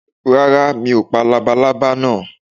Rárá, mi ò pa labalaba náà.